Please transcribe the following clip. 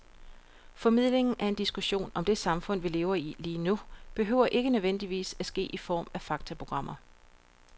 Formidlingen af en diskussion om det samfund, vi lever i lige nu, behøver ikke nødvendigvis at ske i form af faktaprogrammer.